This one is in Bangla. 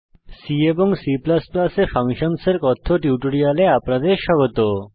C এবং C এ ফাংশনসের কথ্য টিউটোরিয়ালে আপনাদের স্বাগত